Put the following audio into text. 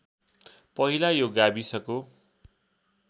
पहिला यो गाविसको